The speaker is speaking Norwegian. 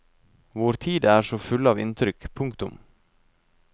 Vår tid er så full av inntrykk. punktum